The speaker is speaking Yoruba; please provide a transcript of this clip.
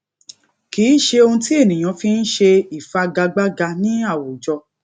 kì í ṣe ohun tí ènìyàn fi n ṣe ìfigagbága ní àwùjọ